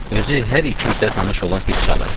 Özü hər iki itə tanış olan fit çalırdı.